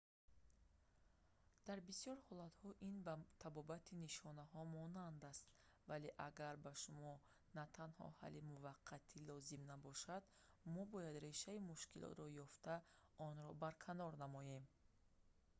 дар бисёр ҳолатҳо ин ба табобати нишонаҳо монанд аст вале агар ба шумо на танҳо ҳалли муваққатӣ лозим набошад мо бояд решаи мушкилотро ёфта онро барканор намоем